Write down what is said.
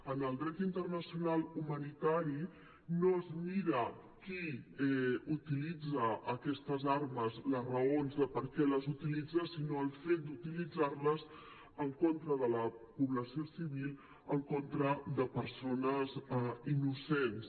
en el dret internacional humanitari no es mira qui utilitza aquestes armes les raons de per què les utilitza sinó el fet d’utilitzar les en contra de la població civil en contra de persones innocents